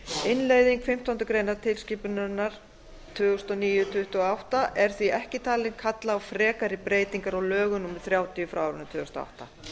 innleiðing fimmtándu greinar tilskipunarinnar tvö þúsund og níu tuttugu og átta er því ekki talin kalla á frekari breytingar á lögum númer þrjátíu tvö þúsund og átta